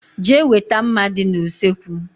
Jee weta mma dị n' usekwu!!!!